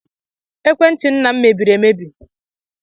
Ekwentị nna m mebiri emebi.